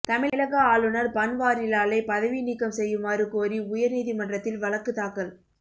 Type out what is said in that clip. தமிழக ஆளுநர் பன்வாரிலாலை பதவி நீக்கம் செய்யுமாறு கோரி உயர் நீதிமன்றத்தில் வழக்கு தாக்கல்